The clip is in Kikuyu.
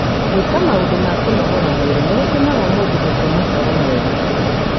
Gwĩka maũndũ ma kũnogora mwĩrĩ nĩ gũteithagia mũndũ gũkoma toro mwega.